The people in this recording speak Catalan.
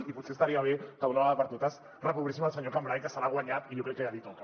i potser estaria bé que d’una vegada per totes reprovéssim el senyor cambray que s’ho ha guanyat i jo crec que ja li toca